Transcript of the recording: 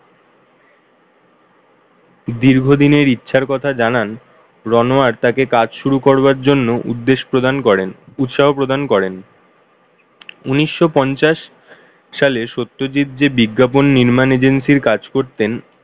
দীর্ঘদিনের ইচ্ছার কথা জানান Ranoyar তাকে কাজ শুরু করবার জন্যে উদ্দেশ প্রদান করেন উৎসাহ প্রদান করেন উনিশশো পঞ্চাশ সালে সত্যজিৎ যে বিজ্ঞাপন নির্মাণ agency র কাজ করতেন,